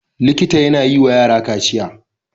Likita yAna yi wa yara kaciya